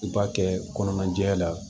U b'a kɛ kɔnɔna jɛya la